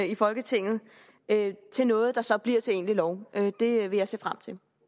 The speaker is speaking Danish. i folketinget til noget der så bliver til egentlig lov det vil jeg se frem til